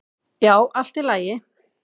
"""Já, allt í lagi."""